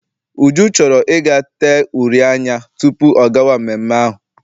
Uju chọrọ I ga tee uri anya tupu ọ gawa mmemme ahụ.